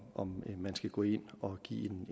om man skal gå ind og give